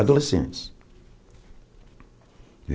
Adolescentes.